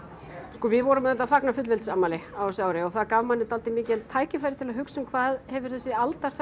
sko við vorum auðvitað að fagna fullveldisafmæli á þessu ári og það gaf manni dálítið mikið tækifæri til þess að hugsa hvað hefur þessi